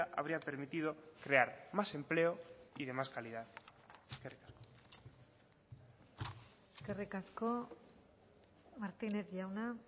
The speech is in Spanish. habría permitido crear más empleo y de más calidad eskerrik asko eskerrik asko martínez jauna